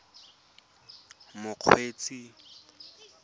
mokgweetsi